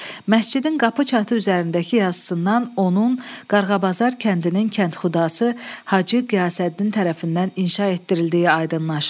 Məscidin qapı çatı üzərindəki yazısından onun Qarğabazar kəndinin kənxudası Hacı Qiyasəddin tərəfindən inşa etdirildiyi aydınlaşır.